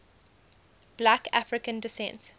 black african descent